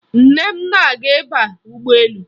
Nne m na-aga ịba ụgbọelu